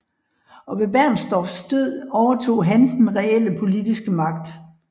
Og ved Bernstorffs død overtog han den reelle politiske magt